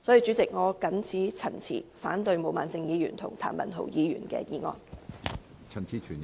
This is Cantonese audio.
主席，我謹此陳辭，反對毛孟靜議員和譚文豪議員的議案。